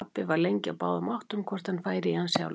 Pabbi var lengi á báðum áttum hvort hann færi í hann sjálfur.